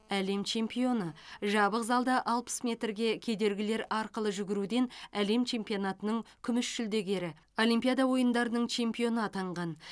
әлем чемпионы жабық залда алпыс метрге кедергілер арқылы жүгіруден әлем чемпионатының күміс жүлдегері олимпиада ойындарының чемпионы атанған